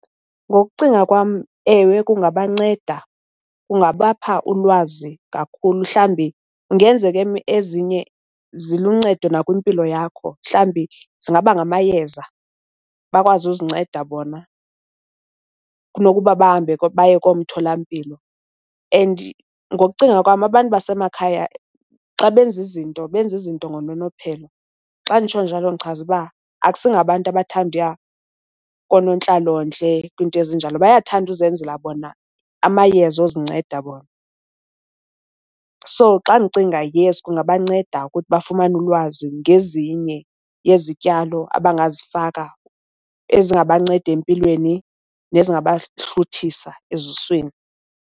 Ngokucinga kwam, ewe, kungabanceda kungabapha ulwazi kakhulu mhlawumbi kungenzeka ezinye ziluncedo nakwimpilo yakho. Mhlawumbi zingaba ngamayeza bakwazi uzinceda bona kunokuba bahambe baye koomtholampilo. And ngokucinga kwam abantu basemakhaya xa benza izinto benza izinto ngononophelo. Xa nditsho njalo ndichaza uba akusingabantu abathanda uya koonontlalontle, kwiinto ezinjalo. Bayathanda uzenzela bona amayeza ozinceda bona. So, xa ndicinga, yes, kungabanceda ukuthi bafumane ulwazi ngezinye yezityalo abangazifaka ezingabanceda empilweni nezingabahluthisa ezuswini.